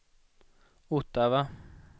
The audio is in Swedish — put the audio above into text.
Ottawa